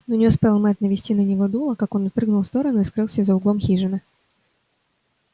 но не успел мэтт навести на него дуло как он отпрыгнул в сторону и скрылся за углом хижины